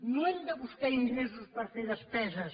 no hem de buscar ingressos per fer despeses